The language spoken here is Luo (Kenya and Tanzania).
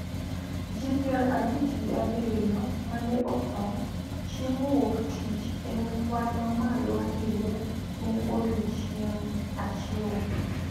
Ji pier abich gi abiriyo ma ne otho chieng` Wuok Tich en kwan mamalo ahinya ne odiechieng` achiel